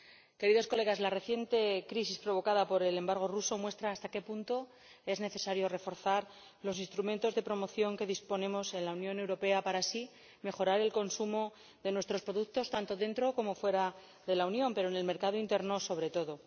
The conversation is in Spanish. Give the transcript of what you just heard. Señorías, la reciente crisis, provocada por el embargo ruso, muestra hasta qué punto es necesario reforzar los instrumentos de promoción de que disponemos en la Unión Europea para así mejorar el consumo de nuestros productos tanto dentro como fuera de la Unión, pero en el mercado interior sobre todo.